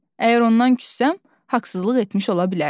Əgər ondan küssəm, haqsızlıq etmiş ola bilərəm.